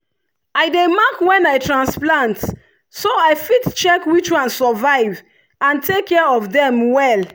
i dey mark when i transplant so i fit check which one survive and take care of dem well.